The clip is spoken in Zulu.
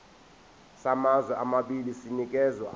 samazwe amabili sinikezwa